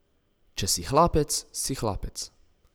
Če si hlapec, si hlapec.